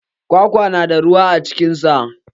Kwakwa na da ruwa a cikin sa.